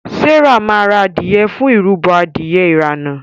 Serah ma rà adìye fún ìrúbo Adìyẹ irana.